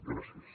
gràcies